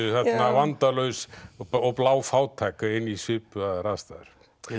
vandalaus og bláfátæk inn í svipaðar aðstæður